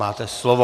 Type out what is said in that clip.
Máte slovo.